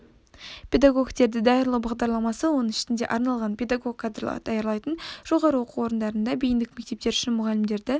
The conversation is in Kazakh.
педагогтерді даярлау бағдарламасы оның ішінде арналған педагог кадрларды даярлайтын жоғары оқу орындарында бейіндік мектептер үшін мұғалімдерді